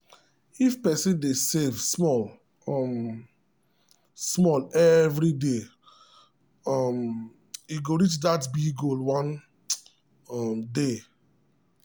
if person dey save small um small every day um e go reach that big goal one um day.